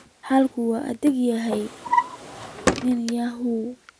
Xaalku waa adag yahay nin yahow